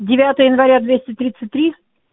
девятое января двести тридцать три